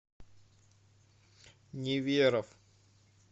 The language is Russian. неверов